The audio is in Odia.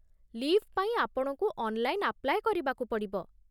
ଲି'ଭ୍ ପାଇଁ ଆପଣଙ୍କୁ ଅନ୍‌ଲାଇନ୍ ଆପ୍ଲାଏ କରିବାକୁ ପଡ଼ିବ ।